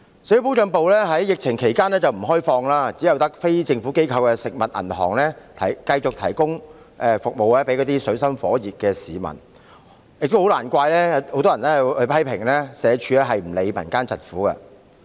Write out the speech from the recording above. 社會保障辦事處在疫情期間不開放，只有非政府機構的"食物銀行"繼續為處於水深火熱的市民提供服務，難免令市民批評社署不理會民間疾苦。